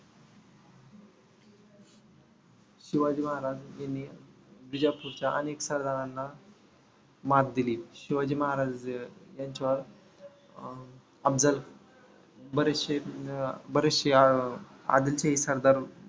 शिवाजी महाराज यांनी बिजापूरच्या अनेक सरदारांना मात दिली. शिवाजी महाराज यांच्यावर अं अफजल बरचशे अं बरेचशे आदिलशाही सरदार